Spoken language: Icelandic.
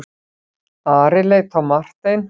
Ari leit á Martein.